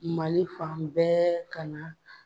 Mali fan bɛɛ ka na